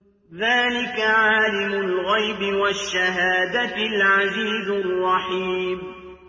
ذَٰلِكَ عَالِمُ الْغَيْبِ وَالشَّهَادَةِ الْعَزِيزُ الرَّحِيمُ